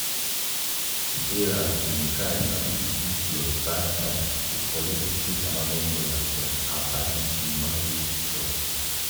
sarah bin try sabi de good plus bad side to collect two thousand dollars from her padi emma wey she trust.